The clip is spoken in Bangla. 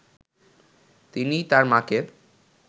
তিনি তার মাকে